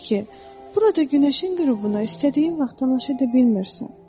Heyf ki, burada günəşin qürubuna istədiyin vaxt tamaşa edə bilmirsən.